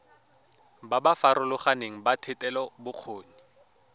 ba ba farologaneng ba thetelelobokgoni